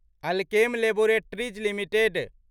Alkem laboratories limited